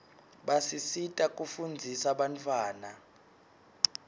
basisita kufundzisa bantawana